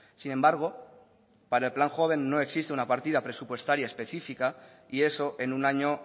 sin embargo para el plan joven no existe una partida presupuestaria específica y eso en un año